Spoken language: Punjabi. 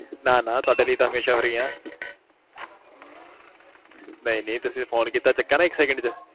ਨਾ-ਨਾ ਤੁਹਾਡੇ ਲਈ ਤਾਂ ਹਮੇਸ਼ਾਂ ਫ੍ਰੀ ਆ ਨਹੀ-ਨਹੀ ਤੁਸੀ ਫੋਨ ਕੀਤਾ ਚਕਿਆ ਨਾ ਇਕ ਸੈਕੰਡ ਚ